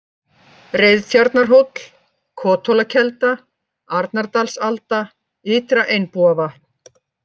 Reiðtjarnarhóll, Kothólakelda, Arnardalsalda, Ytra-Einbúavatn